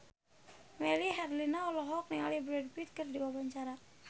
Melly Herlina olohok ningali Brad Pitt keur diwawancara